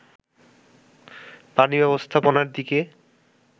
পানি ব্যবস্থাপনার দিকে